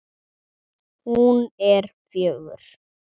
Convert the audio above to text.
Hún er fjögur.